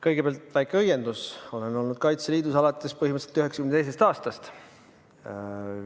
Kõigepealt väike õiendus: ma olen olnud Kaitseliidus alates 1992. aastast.